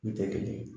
Ne tɛ kelen ye